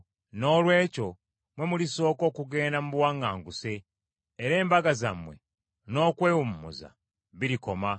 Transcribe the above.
Noolwekyo mmwe mulisooka okugenda mu buwaŋŋanguse. Era embaga zammwe n’okwewummuza birikoma.